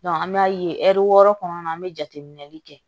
an bɛ ye ɛri wɔɔrɔ kɔnɔna an bɛ jateminɛli kɛ